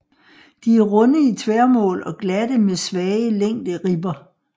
De er runde i tværmål og glatte med svage længderibber